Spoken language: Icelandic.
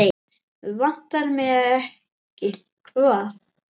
Vantar mig ekki hvað?